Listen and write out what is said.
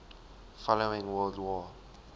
following world war